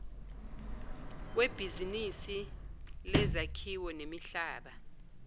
webhizinisi lezakhiwo nemihlaba